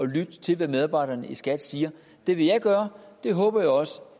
lytte til hvad medarbejderne i skat siger det vil jeg gøre det håber jeg også